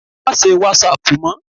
Má se wàsáàpù mọ́